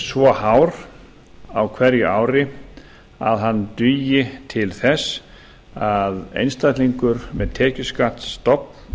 svo hár á hverju ári að hann dugi til þess að einstaklingur með tekjuskattsstofn